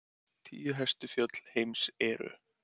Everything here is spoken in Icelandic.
Tíu hæstu fjöll heims eru: